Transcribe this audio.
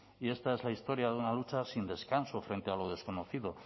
y esta es la historia de una lucha sin descanso frente a lo desconocido